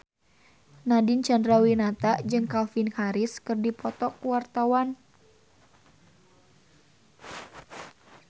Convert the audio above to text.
Nadine Chandrawinata jeung Calvin Harris keur dipoto ku wartawan